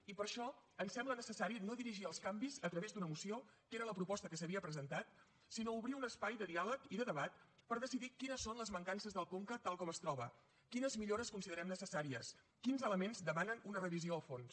i per això ens sembla necessari no dirigir els canvis a través d’una moció que era la proposta que s’havia presentat sinó obrir un espai de diàleg i de debat per decidir quines són les mancances del conca tal com es troba quines millores considerem necessàries quins elements demanen una revisió a fons